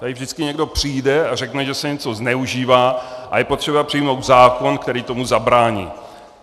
Tady vždycky někdo přijde a řekne, že se něco zneužívá a je potřeba přijmout zákon, který tomu zabrání.